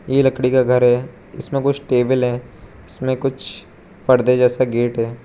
यह लकड़ी का घर है इसमें कुछ टेबल है इसमें कुछ पहन जैसा गेट है।